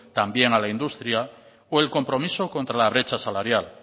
también a la industria o el compromiso contra la brecha salarial